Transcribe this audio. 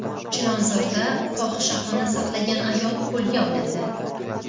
Chilonzorda fohishaxona saqlagan ayol qo‘lga olindi.